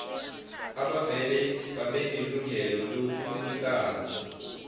abavele babenelungelo lobunikazi